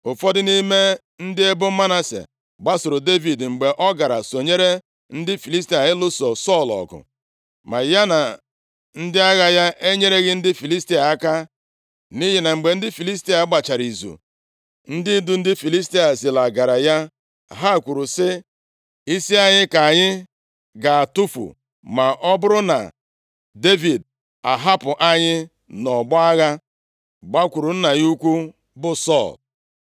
Ụfọdụ nʼime ndị ebo Manase gbasooro Devid, mgbe ọ gara sonyere ndị Filistia nʼịlụso Sọl ọgụ. Ma ya na ndị agha ya enyereghị ndị Filistia aka, nʼihi na mgbe ndị Filistia gbachara izu, ndị ndu ndị Filistia zilagara ya. Ha kwuru sị, “Isi anyị ka anyị ga-atụfu ma ọ bụrụ na Devid ahapụ anyị nʼọgbọ agha gbakwuru nna ya ukwu bụ Sọl.”